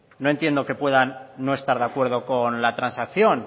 no entiendo que puedan no estar de acuerdo con la transacción